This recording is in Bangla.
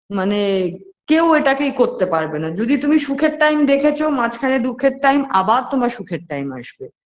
মানে কেউ এটাকে ই করতে পারবে না যদি তুমি সুখের time দেখেছ মাঝখানে দুখের time আবার আবার তোমার সুখের time আসবে